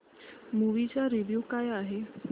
movie चा review काय आहे